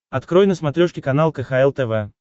открой на смотрешке канал кхл тв